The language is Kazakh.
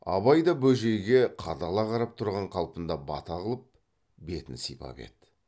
абай да бөжейге қадала қарап тұрған қалпында бата қылып бетін сипап еді